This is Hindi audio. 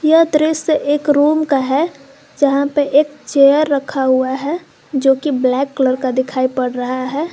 यह दृश्य एक रूम का है जहां पे एक चेयर रखा हुआ है जो की ब्लैक कलर का दिखाई पड़ रहा है।